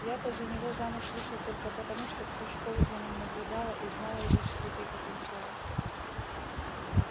я-то за него замуж вышла только потому что всю школу за ним наблюдала и знала его скрытый потенциал